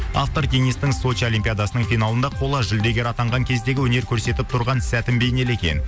автор денистің сочи олимпиадасының финалында қола жүлдегер атанған кездегі өнер көрсетіп тұрған сәтін бейнелеген